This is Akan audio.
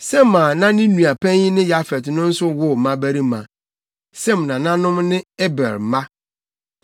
Sem a na ne nua panyin ne Yafet no nso woo mmabarima. Sem nananom ne Eber mma.